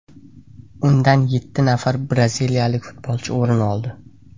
Undan yetti nafar braziliyalik futbolchi o‘rin oldi.